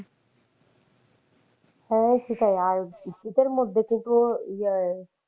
হ্যাঁ সেটাই, আর শীতের মধ্যে কিন্তু ইয়ে,